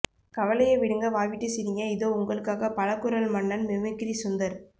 கவலைய விடுங்க வாய்விட்டு சிரிங்க இதோ உங்களுக்காக பல குரல் மன்னன் மிமிக்கிரி சுந்தர்